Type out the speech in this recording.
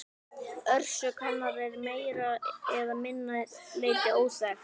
Orsök hennar er að meira eða minna leyti óþekkt.